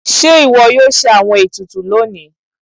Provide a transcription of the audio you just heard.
Ṣe iwọ yóò ṣe awọn etùtù loni?